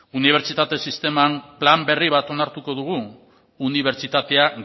unibertsitate sisteman plan berri bat onartuko dugu unibertsitatea